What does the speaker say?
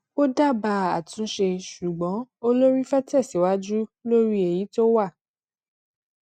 ó dábàá àtúnṣe ṣùgbọn olórí fẹ tẹsíwájú lórí èyí tó wà